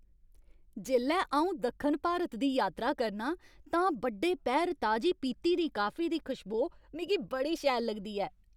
जेल्लै अऊं दक्खन भारत दी यात्रा करना आं तां बड्डे पैह्र ताजी पीह्ती दी काफी दी कशबोऽ मिगी बड़ी शैल लगदी ऐ।